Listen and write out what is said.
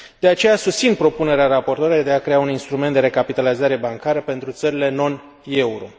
De aceea, susțin propunerea raportoarei de a crea un instrument de recapitalizare bancară pentru țările non euro.